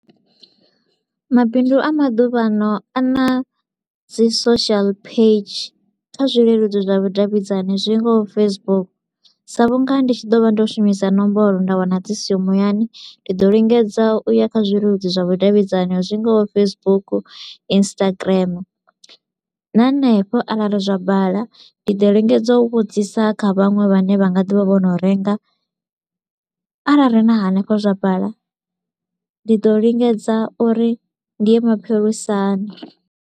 Mabindu a maḓuvhano a na dzi social page kha zwileludzi zwa vhudavhidzani zwi ngaho Facebook sa vhu nga ndi tshi ḓo vha ndo shumisa nomboro nda wana dzi siho muyani, ndi ḓo lingedza u ya kha zwileludzi zwa vhudavhidzani zwi ngaho Facebook, Instagram na henefho arali zwa bala ndi ḓo lingedza u vhudzisa kha vhaṅwe vha ne vha nga di vha vho no renga. Arali na hanefho zwa bala, ndi ḓo lingedza uri ndi ya mapholisani.